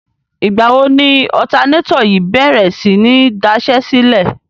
Ìgbà wo ni ọ̀tanátọ̀ yìí bèrè sí ní daṣẹ́sílẹ̀?